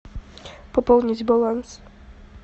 пополнить баланс